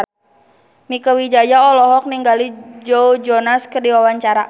Mieke Wijaya olohok ningali Joe Jonas keur diwawancara